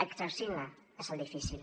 exercir ne és el difícil